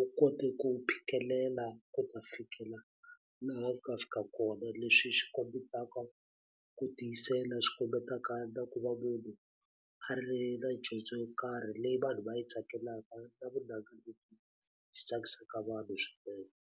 u kote ku phikelela ku ta fikela laha a nga fika kona, leswi swi kombetaka ku tiyisela swi kombetaka na ku va munhu a ri na dyondzo yo karhi leyi vanhu va yi tsakelaka na vunanga lebyi byi tsakisaka vanhu swinene.